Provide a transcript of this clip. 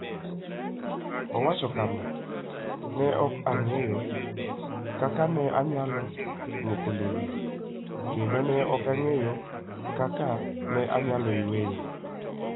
Owacho kama: "Ne ok ang'eyo kaka ne anyalo lwoko lewni, kendo ne ok ang'eyo kaka ne anyalo yweyo.